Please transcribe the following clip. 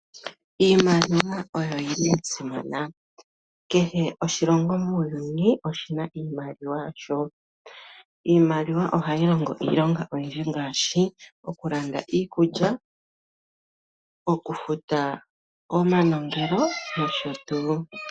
Iimaliwa oyo yili yasimana. Kehe oshilongo muuyuni oshina iimaliwa yasho . Iimaliwa ohayi longo iilonga oyindji ngaashi: okulanda iikulya , okufuta omanongelo nosho tuu.